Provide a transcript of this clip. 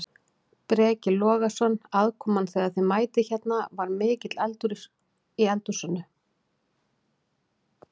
Breki Logason: Aðkoman þegar að þið mætið hérna, var mikill eldur í húsinu?